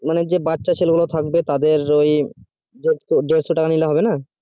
মানে যেই বাচ্চা ছেলে গুলো থাকবে তাদের ওই দেড়শো টাকা নিলে হবে না